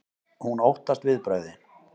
Hún óttast viðbrögðin.